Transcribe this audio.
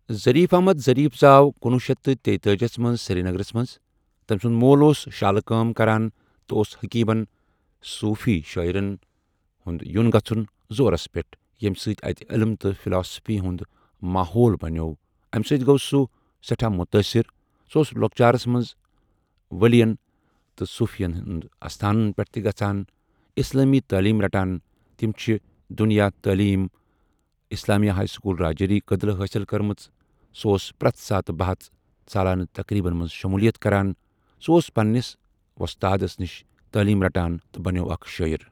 Zarif Ahmad Zarif زاو کنۄہُ شیتھ تہٕ تیٖتأجیاہس مَنٛز سِریٖنَگرَس مَنٛز تمسند مول اوس شالہٕ کٲم کران تہٕ اوس حکیمن، صوفی شاعرن ہُنٛد یُن گَژھَن زورس پؠٹھ یم سۭتۍ اتہٕ علِم تہٕ فِلاسفی ہُنٛد ماحوٗل بنیو امہِ سۭتۍ گوٚو سُہ سٮ۪ٹھاہ متاثر سُہ اوس لۄکچارس منزٕ ؤلین تہٕ صوفین ہُنٛد اَستانن پٮ۪ٹھ تہِ گژھان اسلامی تٲلیٖم رٹان تم چھُ دنیإ تٲلیٖم اسلامیا سکول رجوری کدل حٲصل کٔرمٕژ سُہ اوس پرَٛتھ ساتہٕ بَحَژ، سالانہ تقریٖبن مَنٛز شمولیت کران سُہ اوس پننس وۄستادَن نِش تٲلیٖم رٹان تہٕ بنیو اَکھ شٲعر۔